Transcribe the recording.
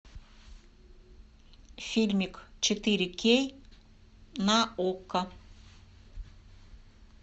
фильмик четыре кей на окко